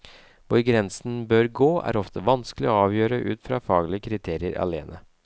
Hvor grensen bør gå er ofte vanskelig å avgjøre ut fra faglige kriterier alene.